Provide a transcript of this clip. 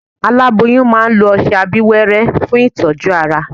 Aláboyún máa lo ọsẹ abíwẹ́rẹ́ fún ìtọ́jú ara